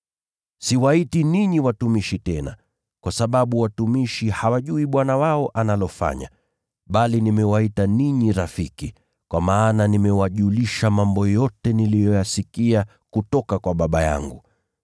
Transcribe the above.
Siwaiti ninyi watumishi tena, kwa sababu watumishi hawajui bwana wao analofanya, bali nimewaita ninyi rafiki, kwa maana nimewajulisha mambo yote niliyoyasikia kutoka kwa Baba yangu.